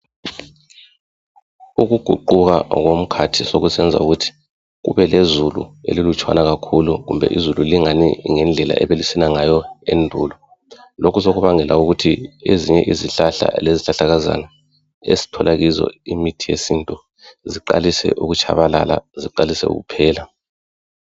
Ukuguquka komkhathi sokusenza ukuthi, kube lezulu elilutshwana kakhulu kumbe izulu lingani ngendlela ebelisina ngayo endulo. Lokhu sokubangela ukuthi ezinye izihlahla lezihlahlakazana esthola kizo imithi yesintu ziqalise ukutshabalala, ziqalise ukuphela.